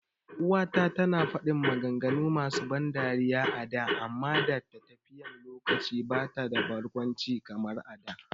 uwa ta tana fadin maganganu masu ban dariya a da amma da tafiyan lokaci bata da barkwanci kamar a da